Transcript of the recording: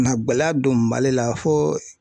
na gɛlɛya don Mali la fo